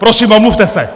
Prosím, omluvte se!